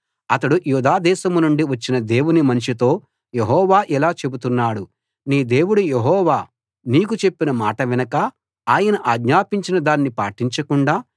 అతడు యూదాదేశాన్నుండి వచ్చిన దేవుని మనిషితో యెహోవా ఇలా చెబుతున్నాడు నీ దేవుడు యెహోవా నీకు చెప్పిన మాట వినక ఆయన ఆజ్ఞాపించిన దాన్ని పాటించకుండా